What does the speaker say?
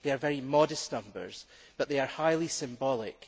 they are very modest numbers but they are highly symbolic.